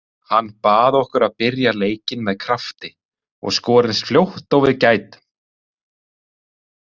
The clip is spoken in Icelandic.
Hann bað okkur að byrja leikinn með krafti og skora eins fljótt og við gætum.